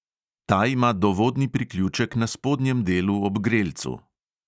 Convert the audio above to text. Ta ima dovodni priključek na spodnjem delu, ob grelcu.